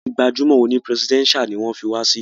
Súítì gbajúmọ̀ òní presidential ní wọ́n fí wa sí.